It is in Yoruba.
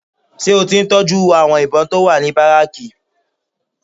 Ṣé o ti ń tọ́jú àwọn ìbọn tó wà ní bárékè?